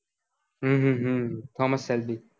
હમ હમ thomas shelby